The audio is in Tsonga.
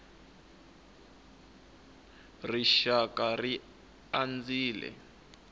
rixakara ri andzile